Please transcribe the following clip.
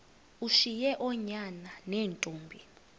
ushiye oonyana neentombi